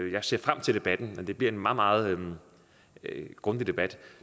jeg ser frem til debatten men det bliver en meget meget grundig debat